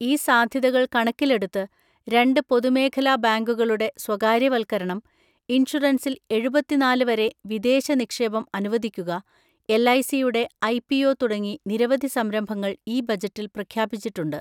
ഈ സാധ്യതകൾ കണക്കിലെടുത്ത്, രണ്ട് പൊതുമേഖലാ ബാങ്കുകളുടെ സ്വകാര്യവൽക്കരണം, ഇൻഷുറൻസിൽ എഴുപതിനാല് വരെ വിദേശ നിക്ഷേപം അനുവദിക്കുക, എൽഐസിയുടെ ഐപിഒ തുടങ്ങി നിരവധി സംരംഭങ്ങൾ ഈ ബജറ്റിൽ പ്രഖ്യാപിച്ചിട്ടുണ്ട്.